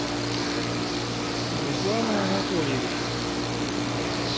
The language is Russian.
руслана анатольевича